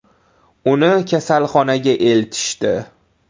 Uni kasalxonaga eltishdi.